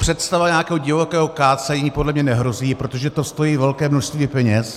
Představa nějakého divokého kácení podle mě nehrozí, protože to stojí velké množství peněz.